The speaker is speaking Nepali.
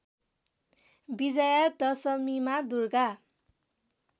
विजया दशमीमा दुर्गा